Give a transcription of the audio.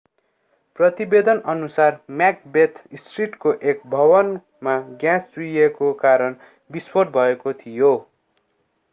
प्रतिवेदनअनुसार Macbeth स्ट्रिटको एक भवनमा ग्याँस चुहिएको कारण विस्फोट भएको थियो